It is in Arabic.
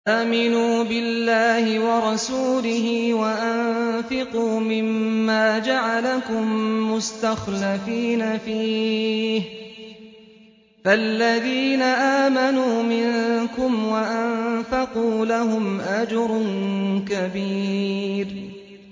آمِنُوا بِاللَّهِ وَرَسُولِهِ وَأَنفِقُوا مِمَّا جَعَلَكُم مُّسْتَخْلَفِينَ فِيهِ ۖ فَالَّذِينَ آمَنُوا مِنكُمْ وَأَنفَقُوا لَهُمْ أَجْرٌ كَبِيرٌ